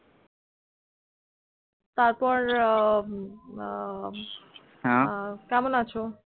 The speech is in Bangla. তারপর হ্যাঁ কেমন আছো